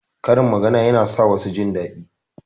Karin magana yana sa wasu jindaɗi.